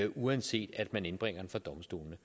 uanset at man indbringer den for domstolene